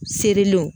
Serilenw